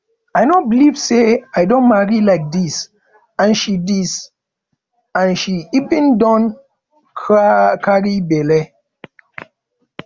i no believe say i don marry like dis and she dis and she even don carry bele